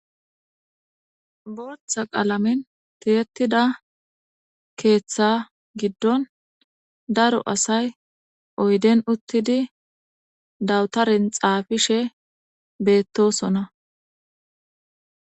Booththa qalamen tiyettida keeththa giddon daro asay oydden uuttidi dawutaran xaafishe bettossonna